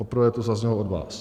Poprvé to zaznělo od vás.